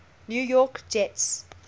new york jets